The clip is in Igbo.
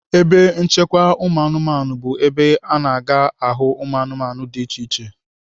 Ebe nchekwa ụmụanụmanụ bụ ebe a na-aga ahụ ụmụanụmanụ dị iche iche.